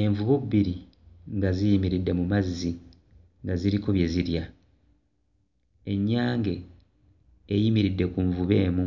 Envubu bbiri nga ziyimiridde mu mazzi nga ziriko bye zirya ennyange eyimiridde ku nvubu emu